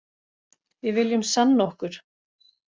Við viljum sanna okkur